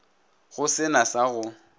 go se na sa go